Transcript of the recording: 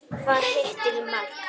Hvað hittir í mark?